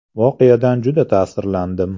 Voqeadan juda ta’sirlandim.